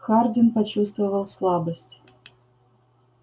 хардин почувствовал слабость